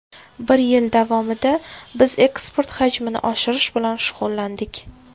Bir yil davomida biz eksport hajmini oshirish bilan shug‘ullandik.